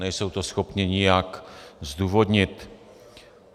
Nejsou to schopni nijak zdůvodnit.